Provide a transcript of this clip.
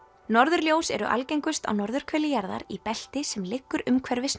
norðurljós eru algengust á norðurhveli jarðar í belti sem liggur umhverfis